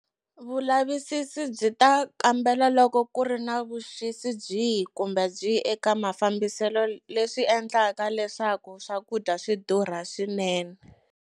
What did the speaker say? Vulavisisi byi ta kambela loko ku ri na vuxisi byihi kumbe byihi eka mafambiselo leswi endlaka leswaku swakudya swi durha swinene.